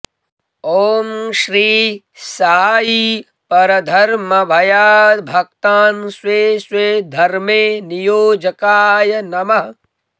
ॐ श्री साई परधर्मभयाद्भक्तान् स्वे स्वे धर्मे नियोजकाय नमः